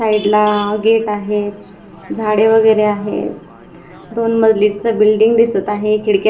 पहिला गेट आहे झाडे वगैरे आहे दोन मजलीचं बिल्डिंग दिसत आहे खिडक्या--